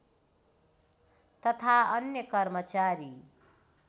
तथा अन्य कर्मचारी